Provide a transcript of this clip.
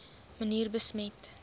manier besmet